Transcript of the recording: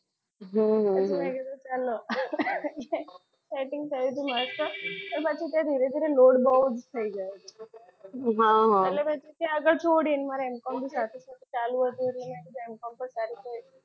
હમ આ તો મેં કીધું ચાલો setting થયું તું તો જવ પણ ધીરે ધીરે load બહુ જ થઈ ગયો. હમ એટલે મેં છોડી મારે MCOM બી ચાલુ હતું એટલે